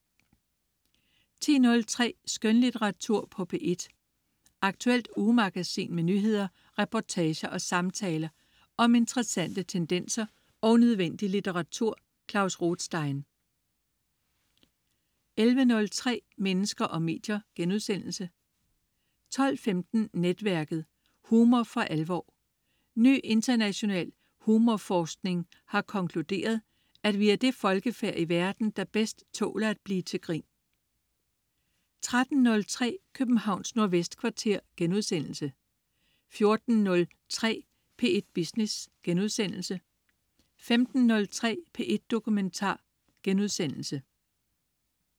10.03 Skønlitteratur på P1. Aktuelt ugemagasin med nyheder, reportager og samtaler om interessante tendenser og nødvendig litteratur. Klaus Rothstein 11.03 Mennesker og medier* 12.15 Netværket. Humor for alvor. Ny international humorforskning har konkluderet, at vi er det folkefærd i verden, der bedst tåler at blive til grin 13.03 Københavns Nordvestkvarter* 14.03 P1 Business* 15.03 P1 Dokumentar*